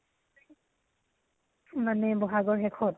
মানে বহাগৰ শেষত?